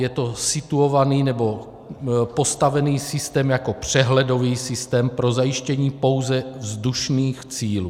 Je to situovaný nebo postavený systém jako přehledový systém pro zajištění pouze vzdušných cílů.